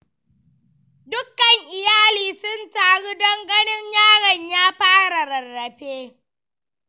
Dukkan iyali sun taru don ganin yaron ya fara rarrafe.